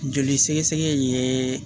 Joli sɛgɛsɛgɛ ye